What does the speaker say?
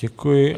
Děkuji.